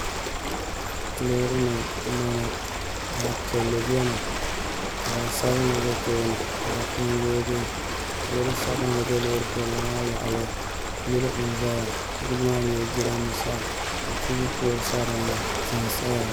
Loori nim n boŋo zaɣ piɛlli biɛni ka zaɣ sabinli ʒɛ tooni ka di puni yooi yɛli loori sabinli bɛ loori piɛlli maa yaɣali yili n ʒɛya yili maa nyɛla jiranbiisa ka tv pool sa dinni tihi n saya ŋo